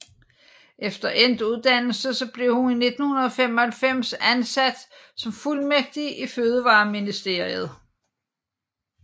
Efter endt uddannelse blev hun i 1995 ansat som fuldmægtig i Fødevareministeriet